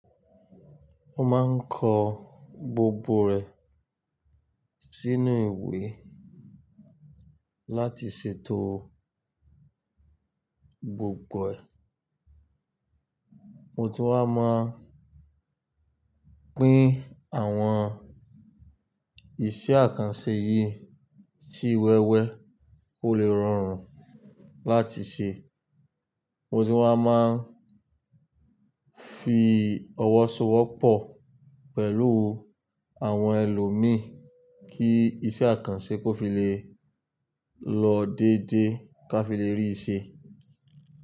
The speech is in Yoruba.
Ó máa ń kọ gbogbo rẹ̀ sínú ìwé láti ṣètò gbogbo ẹ̀. Mo ti wá máa pín àwọn iṣẹ́ àkànṣe yìí sí wẹ́wẹ́ kò le rọrùn láti ṣe. Mo ti wá máa ń fi ọwọ́ so ọwọ́ pọ̀ pẹ̀lú àwọn ẹlòmíì kí iṣẹ́ àkànṣe kó fi lè lọ dédé ká fi lè rí i ṣe.